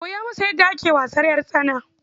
Koya masa yadda ake wasan ƴartsana.